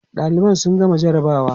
ɗaliban sun gama jarabawa